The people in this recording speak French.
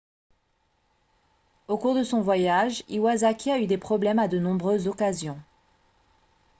au cours de son voyage iwasaki a eu des problèmes à de nombreuses occasions